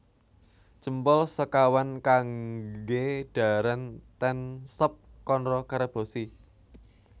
Jempol sekawan kangge dhaharan ten Sop Konro Karebosi